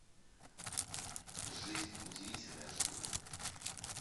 жизнь удивительная штука